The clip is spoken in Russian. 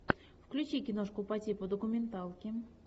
включи киношку по типу документалки